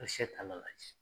A bɛ se ka n'a lajɛ